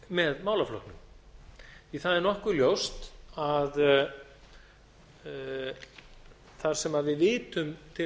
með málaflokknum það er nokkuð ljóst að þar sem við vitum til að